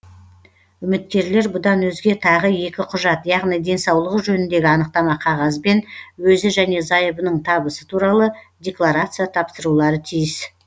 үміткерлер бұдан өзге тағы екі құжат яғни денсаулығы жөніндегі анықтама қағаз бен өзі және зайыбының табысы туралы декларация тапсырулары тиіс